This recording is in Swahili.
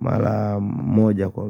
mara moja kwa wiki.